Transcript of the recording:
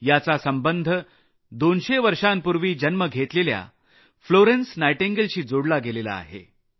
याचा संबंध 200 वर्षांपूर्वी 1820 मध्ये जन्मलेल्या फ्लोरेन्स नायटिंगलशी आहे